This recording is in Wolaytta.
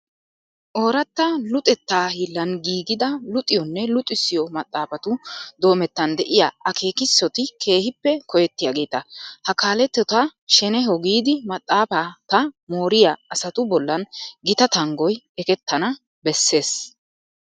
Ooratta luxettaa hiillan giigida luxiyonne luxissiyo maxaafatu doomettan de'iya akeekissoti keehippe koyettiyageeta. Ha kaaletota shenehoo giidi maxaafata mooriya asatu bollan gita tanggoy ekettana bessees.